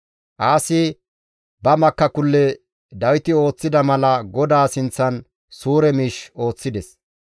Aasi ba makakulle Dawiti ooththida mala GODAA sinththan suure miish ooththides.